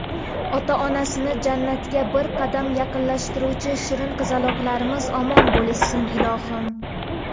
Ota-onasini Jannatga bir qadam yaqinlashtiruvchi shirin qizaloqlarimiz omon bo‘lishsin, ilohim.